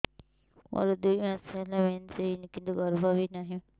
ମୋର ଦୁଇ ମାସ ହେଲା ମେନ୍ସ ହେଇନି କିନ୍ତୁ ଗର୍ଭ ବି ନାହିଁ